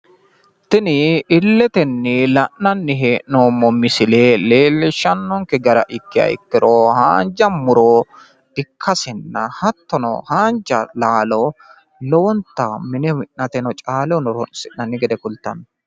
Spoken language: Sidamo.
tini illetenni la'nanni heennoommo misile kultano leelllishano gara ikkiha ikkiro haanja muro ikkasenna hattono haanja laalo mine minnateno caalehona horonsinanni gede kultanno.